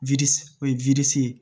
o ye ye